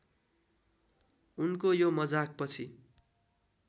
उनको यो मजाकपछि